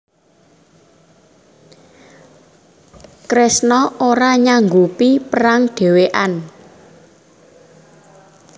Kresna ora nyanggupi perang dhewekan